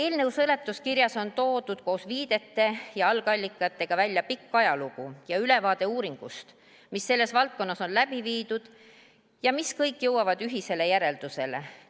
Eelnõu seletuskirjas on toodud koos viidete ja algallikatega välja pikk ajalugu ja ülevaade uuringutest, mis selles valdkonnas on läbi viidud ja mis kõik jõuavad ühisele järeldusele.